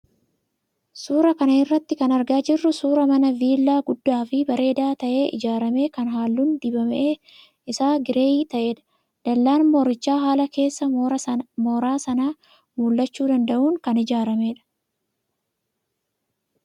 Suuraa kana irraa kan argaa jirru suuraa mana viillaa guddaa fi bareedaa ta'ee ijaarame kan halluun dibame isaa gireeyii ta'edha. Dallaan moorichaa haala keessa mooraa sanaa mul'achuu danda'uun kan ijaaramedha.